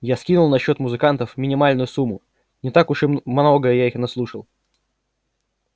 я скинул на счёт музыкантов минимальную сумму не так уж и на много я их наслушал